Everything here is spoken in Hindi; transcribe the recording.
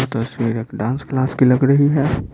तस्वीर एक डांस क्लास की लग रही है।